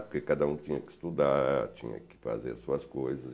Porque cada um tinha que estudar, tinha que fazer suas coisas.